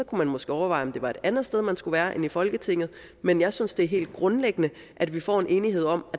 kunne man måske overveje om det var et andet sted man skulle være end i folketinget men jeg synes det er helt grundlæggende at vi får en enighed om